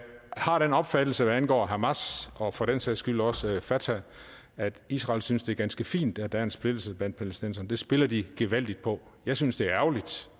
har den opfattelse hvad angår hamas og for den sags skyld også fatah at israel synes det er ganske fint at der er en splittelse blandt palæstinenserne det spiller de gevaldigt på jeg synes det er ærgerligt